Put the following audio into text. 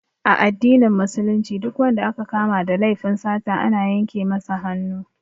A addinin Musulunci Duk wanda aka kama da laifin sata ana yanke masa hannu